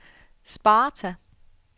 Sparta